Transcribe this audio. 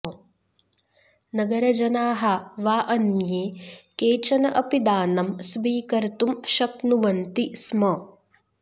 नगरजनाः वा अन्ये केचन अपि दानं स्वीकर्तुं शक्नुवन्ति स्म